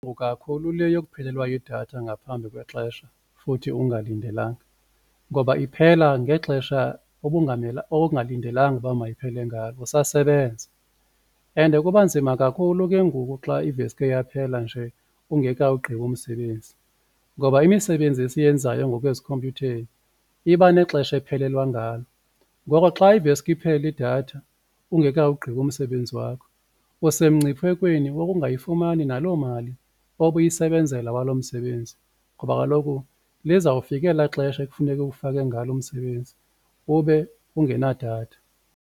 Kakhulu le yokuphelelwa yidatha ngaphambi kwexesha futhi ungalindelanga ngoba iphela ngexesha ongalindelanga ukuba mayiphele ngalo usasebenza and kuba nzima kakhulu ke ngoku xa iveske yaphela nje ungekawugqibi umsebenzi ngoba imisebenzi esiyenzayo ngoku ezikhompyutheni iba nexesha ephelelwa ngalo. Ngoko xa iveske iphele idatha ungekawugqibi umsebenzi wakho usemngciphekweni wokungayifumani naloo mali obuyisebenzela walo msebenzi ngoba kaloku lizawufika ela xesha ekufuneke uwufake ngalo umsebenzi ube ungenadatha.